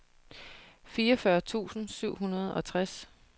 fireogfyrre tusind syv hundrede og tres